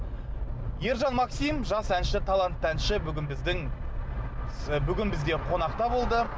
ержан максим жас әнші талантты әнші бүгін біздің бүгін бізде қонақта болды